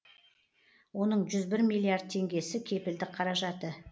оның жүз бір миллиард теңгесі кепілдік қаражаты